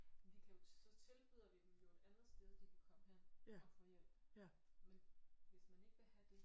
Men de kan jo så tilbyder vi dem jo et andet sted de kan komme hen og få hjælp men hvis man ikke vil have det